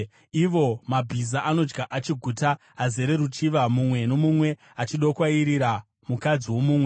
Ivo mabhiza anodya achiguta azere ruchiva, mumwe nomumwe achidokwairira mukadzi womumwe.